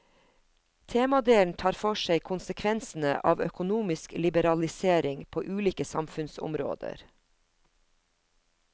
Temadelen tar for seg konsekvensene av økonomisk liberalisering på ulike samfunnsområder.